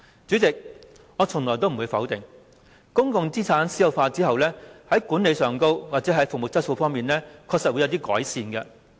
主席，我從來不會否定公共資產私有化後，在管理及服務質素方面確實會有所改善。